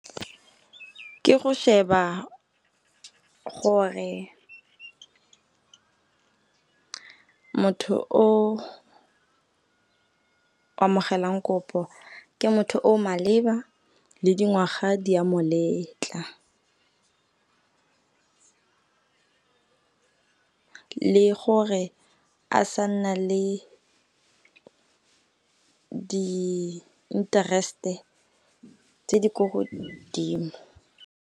Ke go sheba gore motho o amogelang kopo, ke motho o o maleba le dingwaga di a moletla. Le gore a sa nna le di-interest-e tse di ko godimo.